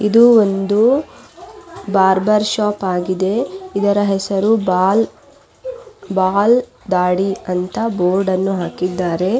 ಇದು ಒಂದು barber shop ಆಗಿದೆ ಇದರ ಹೆಸರು ಬಾಲ್ ಬಾಲ್ ದಾಡಿ ಅಂತ ಬೋರ್ಡ್ ಅನ್ನು ಹಾಕಿದ್ದಾರೆ.